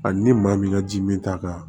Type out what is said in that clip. Hali ni maa min ka ji mi taa kan